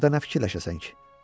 Burda nə fikirləşəsən ki?